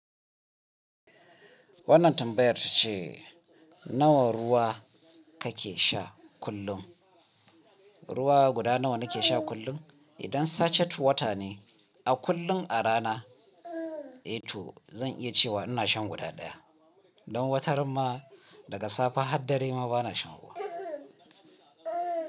Wannan tambayar ta ce nawa ruwa ka ke sha kullum? Ruwa guda nawa ni ke sha kullum? Idan sachect water ne, a kullum a rana, eh to zan iya cewa ina shan guda ɗaya. Don wataran ma daga safe har dare ma bana shan ruwa.